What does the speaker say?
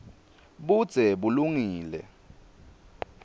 budze bulungile